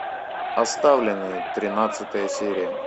оставленные тринадцатая серия